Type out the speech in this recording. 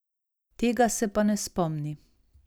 Tega se pa ne spomni.